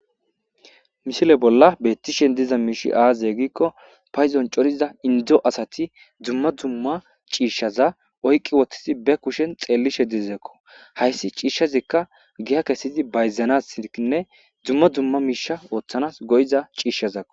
mishile bolla bettishen diza miishi aazye giikko payzon coriza indo asati dzumma dumma ciishshaza oykqqi wothtizi be kushen xeellishe dizekko hayssi ciishshazikka giya kesidi bayzana ikinne dzumma dumma miisha ooththanas goyiza ciishshazakko